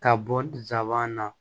Ka bɔ nsaban na